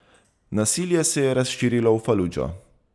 Nasilje se je razširilo v Faludžo.